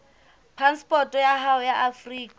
phasepoto ya hao ya afrika